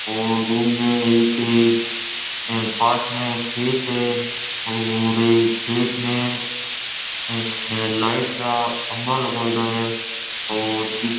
और उनमे एक पास में एक खेत है और ये खेत में यह अपने लाइट रा खम्बा लगाइड़ा है और पी--